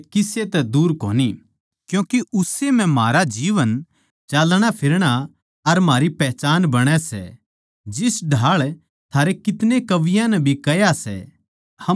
क्यूँके उस्से म्ह म्हारा जीवन चलणाफिरना अर म्हारा पहचान बण्या सां जिस ढाळ थारे कितने कवियाँ नै भी कह्या सै हम तो उस्से के वंशज सां